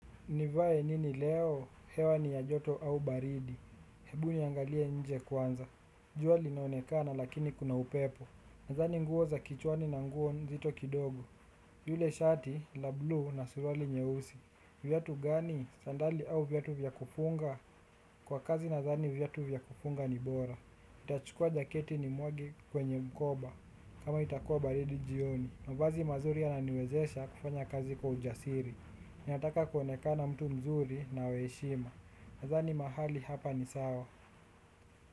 Nivae nini leo, hewa ni ya joto au baridi, hebu niangalie nje kwanza, jua linaonekana lakini kuna upepo, nadhani nguo za kichwani na nguo nzito kidogo, yule shati, la blue na suruali nyeusi, vyatu gani, sandali au vyatu vya kufunga, kwa kazi nadhani vyatu vya kufunga ni bora. Nitachukua jaketi nimwage kwenye mkoba kama itakua baridi jioni. Mavazi mazuri yananiwezesha kufanya kazi kwa ujasiri. Ninataka kuonekana mtu mzuri na wa heshima. Nadhani mahali hapa ni sawa.